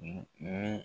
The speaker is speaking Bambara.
Ni